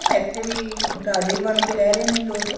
ਹਨਾ ਇੱਥੇ ਵੀ ਰਾਜੇ ਬਣ ਕੇ ਰਹਿ ਰਹੇ ਨੇ ਲੋਕ